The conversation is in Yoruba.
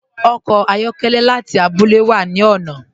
Ọkọ ayọkẹlẹ láti àbúlẹ̀ wà ni ọ̀nà.